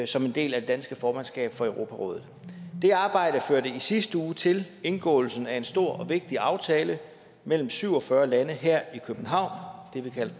som en del af det danske formandskab for europarådet det arbejde førte i sidste uge til indgåelsen af en stor og vigtig aftale mellem syv og fyrre lande her i københavn